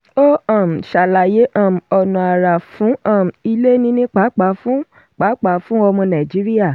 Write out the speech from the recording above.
ó um ṣàlàyé: um ọ̀nà àrà wà fún um ilé níní pàápàá fún pàápàá fún ọmọ nàìjíríà.